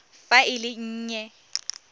fa e le e nnye